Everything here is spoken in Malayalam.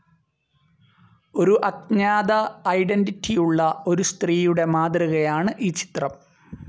ഒരു അജ്ഞാത ഐഡൻറിറ്റിയുള്ള ഒരു സ്ത്രീയുടെ മാതൃകയാണ് ഈ ചിത്രം.